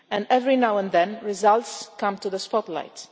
Every now and then results do come into the spotlight.